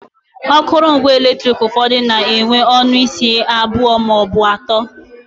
Akụrụngwa eletrik ụfọdụ na enwe ọnụ isi abụọ maọbụ atọ